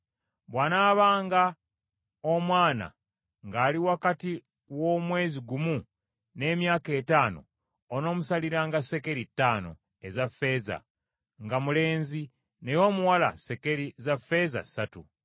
Bw’anaabanga omwana ng’ali wakati w’omwezi gumu n’emyaka etaano, onoomusaliranga sekeri ttaano eza ffeeza nga mulenzi, naye omuwala sekeri za ffeeza ssatu .